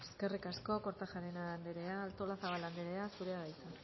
eskerrik asko kortajarena andrea artolazabal andrea zurea da hitza